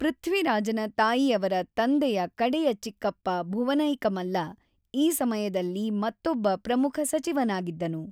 ಪೃಥ್ವಿರಾಜನ ತಾಯಿಯವರ ತಂದೆಯ ಕಡೆಯ ಚಿಕ್ಕಪ್ಪ ಭುವನೈಕಮಲ್ಲ ಈ ಸಮಯದಲ್ಲಿ ಮತ್ತೊಬ್ಬ ಪ್ರಮುಖ ಸಚಿವನಾಗಿದ್ದನು.